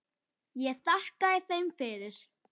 Ég þakkaði þeim fyrir.